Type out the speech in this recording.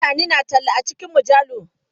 Mutane suna talla a cikin mujallu.